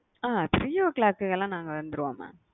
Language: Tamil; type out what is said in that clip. அ three o clock லாம் நாங்க வந்துருவோம் மா